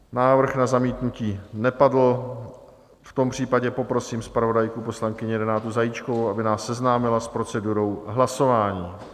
Návrh na zamítnutí nepadl, v tom případě poprosím zpravodajku, poslankyni Renátu Zajíčkovou, aby nás seznámila s procedurou hlasování.